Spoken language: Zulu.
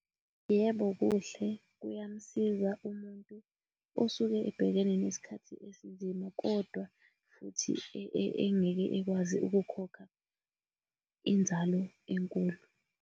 Yebo, kuhle kuyamsiza umuntu osuke ebhekene nesikhathi esinzima, kodwa futhi engeke ekwazi ukukhokha inzalo enkulu.